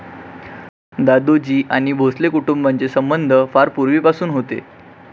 दादोजी आणि भोसले कुटुंबांचे संबंध फार पूर्वीपासून होते.